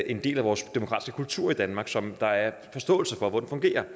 en del af vores demokratiske kultur i danmark som der er forståelse for hvordan fungerer